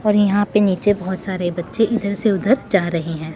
और यहां पे नीचे बहोत सारे बच्चे इधर से उधर जा रहे हैं।